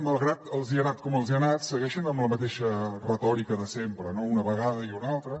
malgrat que els ha anat com els ha anat segueixen amb la mateixa retòrica de sempre no una vegada i una altra